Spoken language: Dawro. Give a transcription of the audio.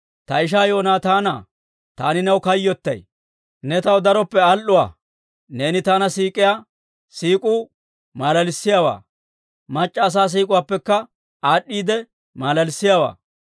Ta ishaa Yoonataanaa, Taani new kayyottay; ne taw daroppe al"uwaa. Neeni taana siik'iyaa siik'uu maalalissiyaawaa, mac'c'a asaa siik'uwaappekka aad'd'iide maalalissiyaawaa.